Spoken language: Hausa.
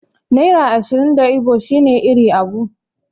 Naira ashirin da Igbo shine 'Iri abuo'.